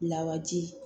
Lawaji